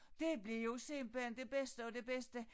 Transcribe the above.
Det blev jo simpelthen det bedste af det bedste